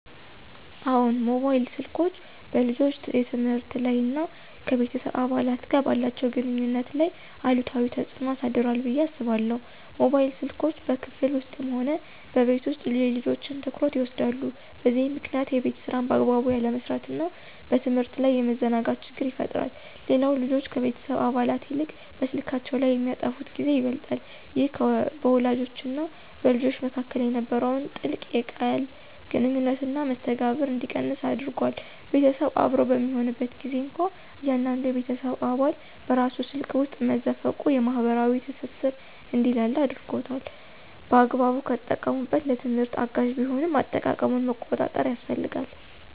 አዎን፣ ሞባይል ስልኮች በልጆች የትምህርት ላይ እና ከቤተሰብ አባላት ጋር ባላቸው ግንኙነት ላይ አሉታዊ ተጽዕኖ አሳድሯል ብዬ አስባለሁ። ሞባይል ስልኮች በክፍል ውስጥም ሆነ በቤት ውስጥ የልጆችን ትኩረት ይወስዳሉ፤ በዚህም ምክንያት የቤት ሥራን በአግባቡ ያለመስራትና በትምህርት ላይ የመዘናጋት ችግር ይፈጠራል። ሌላው ልጆች ከቤተሰብ አባላት ይልቅ በስልካቸው ላይ የሚያጠፉት ጊዜ ይበልጣል። ይህ በወላጆችና በልጆች መካከል የነበረውን ጥልቅ የቃል ግንኙነትና መስተጋብር እንዲቀንስ አድርጓል። ቤተሰብ አብሮ በሚሆንበት ጊዜም እንኳ እያንዳንዱ የቤተሰብ አባል በራሱ ስልክ ውስጥ መዘፈቁ የማኅበራዊ ትስስር እንዲላላ አድርጓል። በአግባቡ ከተጠቀሙበት ለትምህርት አጋዥ ቢሆንም፣ አጠቃቀሙን መቆጣጠር ያስፈልጋል።